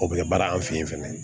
O bɛ kɛ baara an fɛ yen fɛnɛ